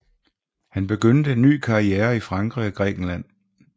Han begyndte en ny karriere i Frankrig og Grækenland